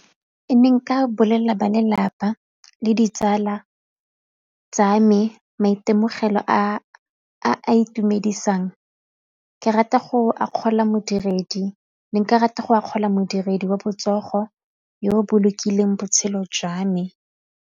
Ke ne nka bolelela ba lelapa le ditsala tsa me maitemogelo a a itumedisang ke rata go akgola modiredi, ne nka rata go akgola modiredi wa botsogo yo o bolokileng botshelo jwa me.